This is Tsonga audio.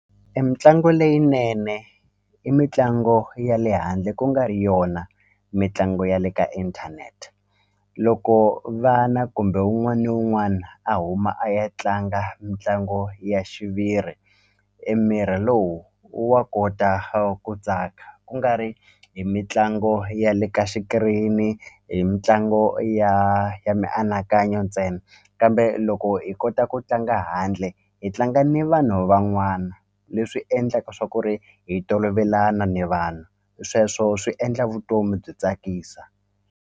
Emitlangu leyinene i mitlangu ya le handle ku nga ri yona mitlangu ya le ka inthanete loko vana kumbe wun'wana ni wun'wana a huma a ya tlanga mitlangu ya xiviri emiri lowu wa kota ku tsaka ku nga ri hi mitlangu ya le ka xikirini hi mitlangu ya ya mianakanyo ntsena kambe loko hi kota ku tlanga handle hi tlanga ni vanhu van'wana leswi endlaka swa ku ri hi tolovelana ni vanhu sweswo swi endla vutomi byi tsakisa.